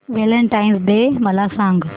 Valentine's day मला सांग